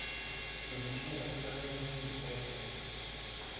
polisie intelligensie betreffende